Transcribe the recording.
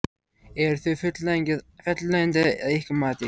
Eru þau fullnægjandi að ykkar mati?